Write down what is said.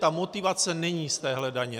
Ta motivace není z téhle daně.